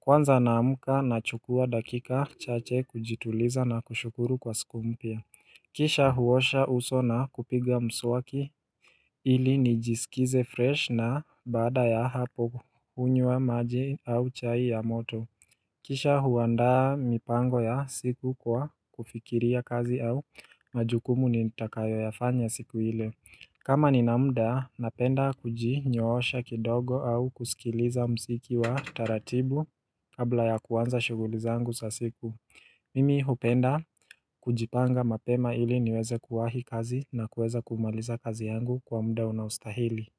Kwanza naamka na chukua dakika chache kujituliza na kushukuru kwa siku mpya. Kisha huosha uso na kupiga mswaki ili nijisikize fresh na baada ya hapo hunywa maji au chai ya moto. Kisha huaandaa mipango ya siku kwa kufikiria kazi au majukumu ni takayo yafanya siku ile. Kama ninamda, napenda kuji nyoosha kidogo au kusikiliza msiki wa taratibu kabla ya kuanza shughulizangu sa siku Mimi hupenda kujipanga mapema ili niweze kuwahi kazi na kuweza kumaliza kazi yangu kwa mda unaustahili.